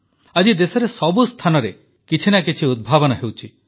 ଆଜି ଦେଶରେ ସବୁ ସ୍ଥାନରେ କିଛି ନା କିଛି ଉଦ୍ଭାବନ ହେଉଛି